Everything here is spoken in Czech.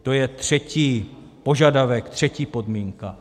To je třetí požadavek, třetí podmínka.